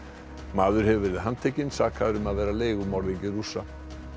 maður hefur verið handtekinn sakaður um að vera leigumorðingi Rússa